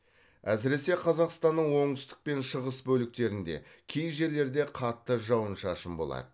әсіресе қазақстанның оңтүстік пен шығыс бөліктерінде кей жерлерде қатты жауын шашын болады